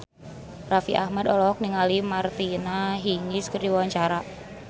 Raffi Ahmad olohok ningali Martina Hingis keur diwawancara